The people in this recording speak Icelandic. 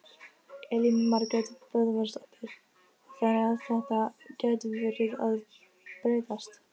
Elín Margrét Böðvarsdóttir: Þannig að þetta gæti verið að breytast?